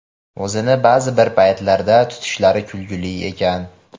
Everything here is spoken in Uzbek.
O‘zini ba’zi bir paytlarda tutishlari kulguli ekan.